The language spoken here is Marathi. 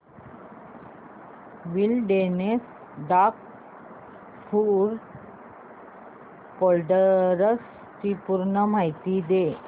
विलडेरनेस डॉग फूड प्रोडक्टस ची पूर्ण माहिती दे